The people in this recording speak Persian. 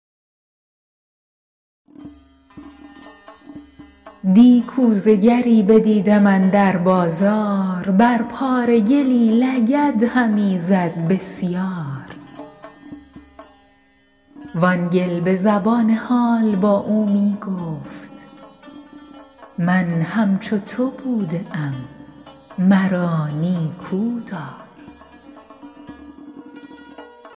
دی کوزه گری بدیدم اندر بازار بر پاره گلی لگد همی زد بسیار وآن گل به زبان حال با او می گفت من همچو تو بوده ام مرا نیکودار